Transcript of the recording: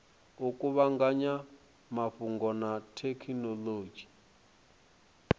u kuvhanganya mafhungo na thekhinolodzhi